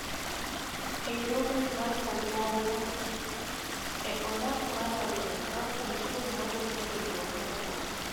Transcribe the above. Hinyruogni mar obuongo e ondamo mar ariyo aa kuom sum mawuok e hinyruok mokuongo.